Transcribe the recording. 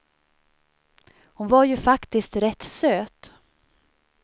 Hon var ju faktiskt rätt söt.